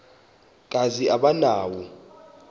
kazi aba nawo